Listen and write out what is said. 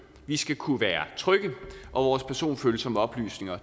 vi skal kunne være trygge og vores personfølsomme oplysninger